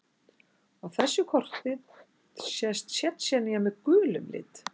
Á þessu korti sést Tsjetsjenía með gulum lit.